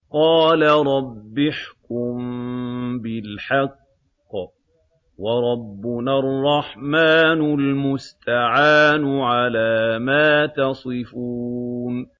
قَالَ رَبِّ احْكُم بِالْحَقِّ ۗ وَرَبُّنَا الرَّحْمَٰنُ الْمُسْتَعَانُ عَلَىٰ مَا تَصِفُونَ